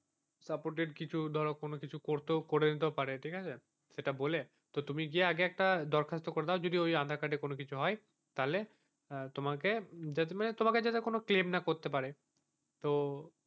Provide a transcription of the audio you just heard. তারপর ধরো কিছু কোনো কিছু ধরো করে দিতেও পারে ঠিক আছে এটা বলে তুমি যে একটা দরখাস্ত করে দাও ওই আধার কার্ড এ কিছু হয় তাহলে তোমাকে তোমাকে যাতে মানে কোনো claim করতে না পারে তো,